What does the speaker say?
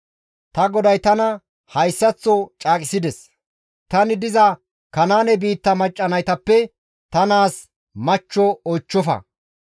Ta goday tana hayssaththo caaqisides; ‹Tani diza Kanaane biitta macca naytappe ta naazas machcho oychchofa;